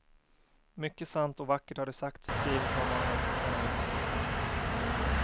Mycket sant och vackert har det sagts och skrivits om honom sen han gick bort.